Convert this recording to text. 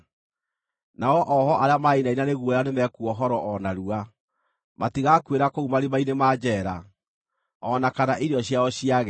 Nao oohwo arĩa marainaina nĩ guoya nĩmekuohorwo o narua; matigakuĩra kũu marima-inĩ ma njeera, o na kana irio ciao ciage.